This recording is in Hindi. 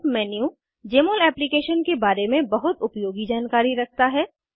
हेल्प मेन्यू जमोल एप्लीकेशन के बारे में बहुत उपयोगी जानकारी रखता है